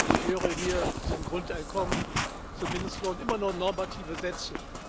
Ich höre hier zum Grundeinkommen, zum Mindestlohn immer nur normative Sätze.